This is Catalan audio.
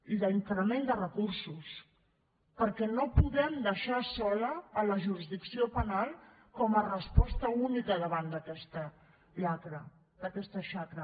i d’increment de recursos perquè no podem deixar sola la jurisdicció penal com a resposta única davant d’aquesta xacra